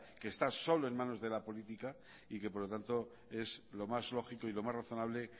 que está solo en manos de la política y que por lo tanto es lo más lógico y lo más razonable